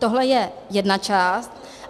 Tohle je jedna část.